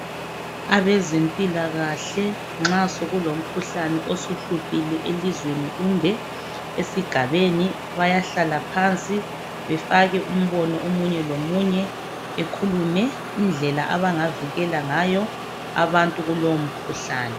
Abezempilakahle nxa sokulomkhuhlane osuhluphile elizweni kumbe esigabeni bayahlala phansi befake umbono omunye lomunye ekhulume indlela abangavikela ngayo abantu kulomkhuhlane.